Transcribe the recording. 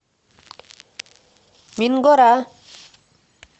мингора